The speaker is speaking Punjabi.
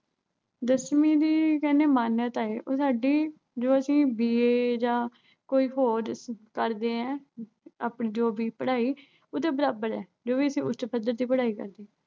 ਦਸਵੀਂ ਦੀ ਕਹਿਨੇ ਆਂ ਮਾਨਿਅਤਾ ਉਹ ਸਾਡੀ, ਜੋ ਅਸੀਂ BA ਜਾਂ ਕੁਸ਼ ਹੋਰ ਕਰਦੇ ਆਂ, ਆਪਣੀ ਪੜ੍ਹਾਈ, ਉਹਦੇ ਬਰਾਬਰ ਆ, ਜੋ ਵੀ ਅਸੀਂ ਉੱਚ ਪੱਧਰ ਦੀ ਪੜ੍ਹਾਈ ਕਰਦੇ ਆਂ।